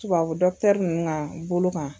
Tubabu nunnu ka bolo kan.